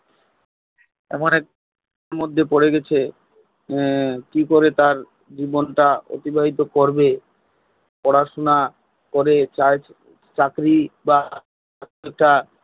এমন একটা মধ্যে পরে গেছে কি করে তার জীবনটা অতিবাহিত করবে পড়াশোনা করে চাকরি বা